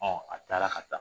A taara ka taa